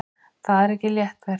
Það er ekki létt verk.